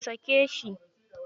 Ku sake shi.